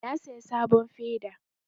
Na saya sabon feda